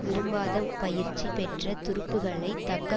விரும்பாத பயிற்சி பெற்ற துருப்புக்களை தக்க